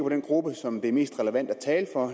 den gruppe som det er mest relevant at tale for